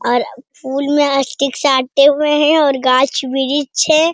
और फूल मे स्टिक साटे हुए हैं और गाछ वृछ है ।